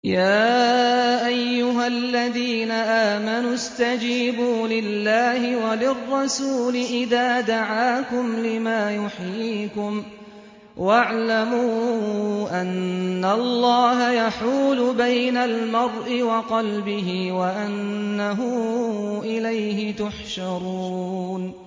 يَا أَيُّهَا الَّذِينَ آمَنُوا اسْتَجِيبُوا لِلَّهِ وَلِلرَّسُولِ إِذَا دَعَاكُمْ لِمَا يُحْيِيكُمْ ۖ وَاعْلَمُوا أَنَّ اللَّهَ يَحُولُ بَيْنَ الْمَرْءِ وَقَلْبِهِ وَأَنَّهُ إِلَيْهِ تُحْشَرُونَ